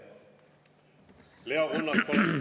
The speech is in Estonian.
Leo Kunnas, palun!